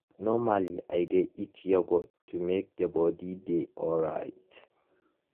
normally i dey eat yogurt to make the body day alright.